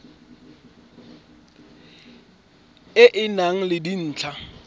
e e nang le dintlha